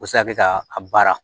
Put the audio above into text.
O bɛ se ka kɛ ka a baara